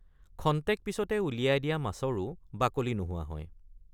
খন্তেক পিচতে উলিয়াই দিয়া মাছৰে৷ বাকলি নোহোৱা হয়।